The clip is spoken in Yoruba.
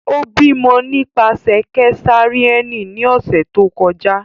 O bimọ nipasẹ kesareani ni ọsẹ to kọja.